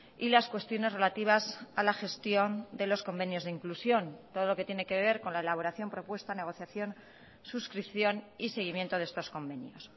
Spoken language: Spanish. y las cuestiones relativas a la gestión de los convenios de inclusión todo lo que tiene que ver con la elaboración propuesta negociación suscripción y seguimiento de estos convenios